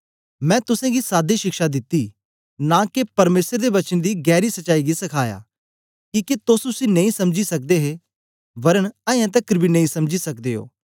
मैं तुसेंगी सादी शिक्षा दित्ती नां के परमेसर दे वचन दी गैरी सच्चाई गी सखाया किके तोस उसी नेई समझी सकदे हे वरन अयें तकर बी नेई समझी सकदे ओ